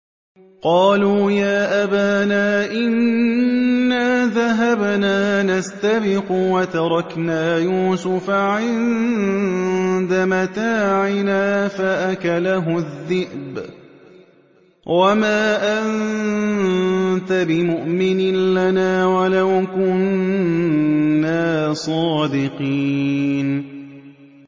قَالُوا يَا أَبَانَا إِنَّا ذَهَبْنَا نَسْتَبِقُ وَتَرَكْنَا يُوسُفَ عِندَ مَتَاعِنَا فَأَكَلَهُ الذِّئْبُ ۖ وَمَا أَنتَ بِمُؤْمِنٍ لَّنَا وَلَوْ كُنَّا صَادِقِينَ